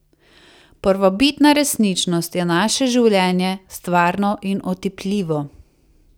Prvobitna resničnost je naše življenje, stvarno in otipljivo.